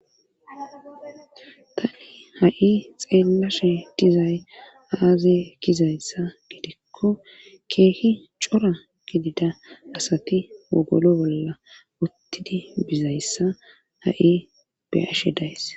tani ha'i xeellashe dizay aaze kizayssa gidikko keehi cora gidida asati wogolo bolla uttidi bizayssa ha'i beyashe days.